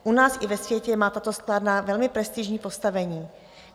U nás i ve světě má tato sklárna velmi prestižní postavení.